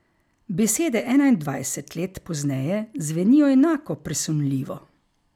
Besede enaindvajset let pozneje zvenijo enako presunljivo.